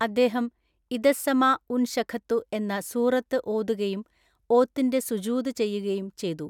അദ്ദേഹം ഇദസ്സമാഉൻശഖത്തു എന്ന സൂറത്തു ഓതുകയും ഓത്തിന്റെ സുജൂദ് ചെയ്യുകയും ചെയ്തു.